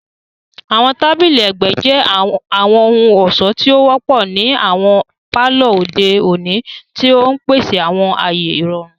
Àwọn tabili ẹgbẹ jẹ àwọn ohun-ọṣọ ti o wọpọ ni awọn palọ ode oni, ti n pese awọn aaye irọrun.